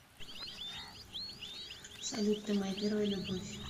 салют ты моя первая любовь